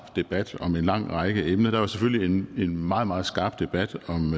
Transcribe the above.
debat om en lang række emner der var selvfølgelig en meget meget skarp debat om